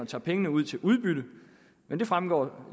tager pengene ud til udbytte men det fremgår